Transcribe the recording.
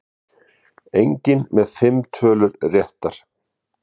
Enginn með fimm tölur réttar